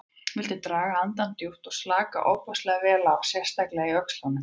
Viltu draga andann djúpt og slaka ofboðslega vel á, sérstaklega í öxlunum.